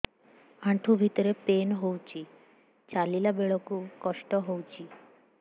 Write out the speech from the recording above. ଆଣ୍ଠୁ ଭିତରେ ପେନ୍ ହଉଚି ଚାଲିଲା ବେଳକୁ କଷ୍ଟ ହଉଚି